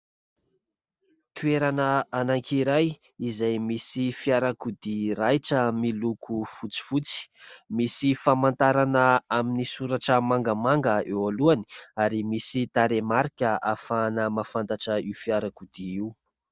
Toerana anankiray izay misy fiarakodia raitra miloko fotsifotsy, misy famantarana amin'ny soratra mangamanga eo alohany ary misy tarehimarika ahafahana mahafantatra io fiarakodia io.